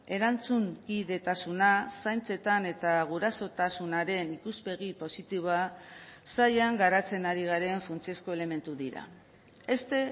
erantzunkidetasuna zaintzetan eta gurasotasunaren ikuspegi positiboa sailan garatzen ari garen funtsezko elementu dira este